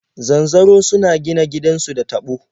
Zanzaro suna gina gidansu da taɓo.